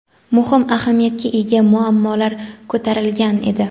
muhim ahamiyatga ega muammolar ko‘tarilgan edi.